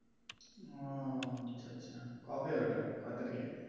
ওহ আচ্ছা আচ্ছা কবে ঐটা কয় তারিখে?